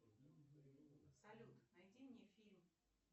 салют найди мне фильм